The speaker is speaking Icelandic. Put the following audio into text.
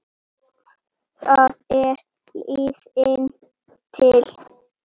Það er liðin tíð.